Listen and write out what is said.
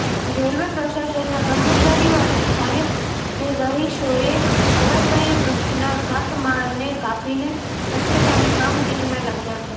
railway પ્રશાસનના કર્મચારીઓ અને સ્થાનિક રહીશોએ ધરાશાયી વૃક્ષના કાટમાળને કાપીને ખસેડવાની કામગીરીમાં લાગ્યા હતાં